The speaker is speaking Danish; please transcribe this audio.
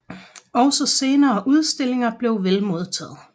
Også senere udstillinger blev vel modtaget